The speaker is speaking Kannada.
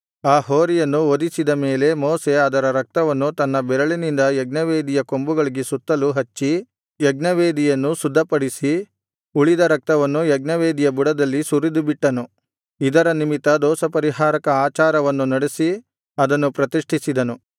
ಆ ಹೋರಿಯನ್ನು ವಧಿಸಿದ ಮೇಲೆ ಮೋಶೆ ಅದರ ರಕ್ತವನ್ನು ತನ್ನ ಬೆರಳಿನಿಂದ ಯಜ್ಞವೇದಿಯ ಕೊಂಬುಗಳಿಗೆ ಸುತ್ತಲೂ ಹಚ್ಚಿ ಯಜ್ಞವೇದಿಯನ್ನು ಶುದ್ಧಪಡಿಸಿ ಉಳಿದ ರಕ್ತವನ್ನು ಯಜ್ಞವೇದಿಯ ಬುಡದಲ್ಲಿ ಸುರಿದುಬಿಟ್ಟನು ಇದರ ನಿಮಿತ್ತ ದೋಷಪರಿಹಾರಕ ಆಚಾರವನ್ನು ನಡೆಸಿ ಅದನ್ನು ಪ್ರತಿಷ್ಠಿಸಿದನು